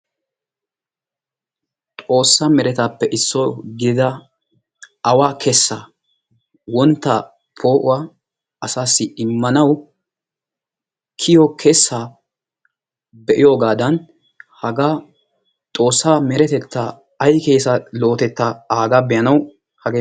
Xoossa meretappe issuwaa gidida awa kessaa wontta poo'uwaa asaw immanaw kiyiyo kessa be'iyoogadan haga Xoossaa meretetta ay keessa lo"otetta aaga be'anaw hagee